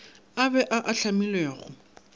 a be a a hlamilwego